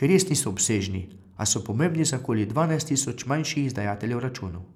ki res niso obsežni, a so pomembni za okoli dvanajst tisoč manjših izdajateljev računov.